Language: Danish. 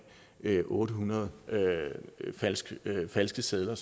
otte hundrede falske falske sedler